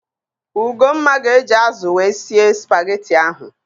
Ugomma ga-eji ázụ̀ wee sie spageti ahụ.